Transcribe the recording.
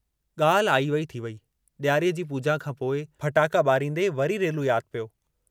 गाल्हि आई वेई थी वेई, डियारीअ जी पूजा खां पोइ फटाका बारींदे वरी रेलू याद पियो।